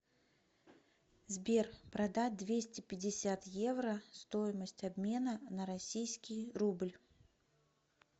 сбер продать двести пятьдесят евро стоимость обмена на российский рубль